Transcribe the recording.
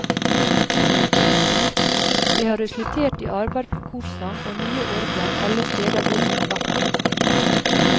Det har resultert i arbeid for korsang og nye orgler alle steder hvor han har vært prest.